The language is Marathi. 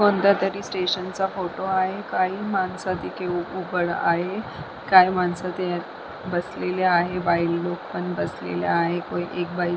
कोणत्यातरी स्टेशनचा फोटो आहे काही माणसं तिथे उभड आहे काही माणसं ते बसलेल्या आहे काही बाईलोक पण बसलेल्या आहेत काही बाई --